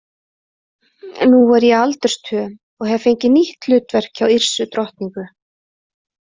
Nú er ég aldursstöm og hef fengið nýtt hlutverk hjá Yrsu drottningu.